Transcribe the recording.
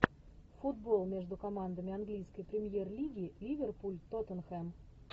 футбол между командами английской премьер лиги ливерпуль тоттенхэм